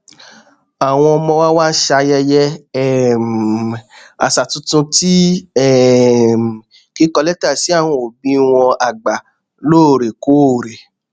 àwọn ọmọ wa ń ṣayẹyẹ um àṣà tuntun ti um kíkọ létà sí àwọn òbí wọn àgbà lóòrèkóòrè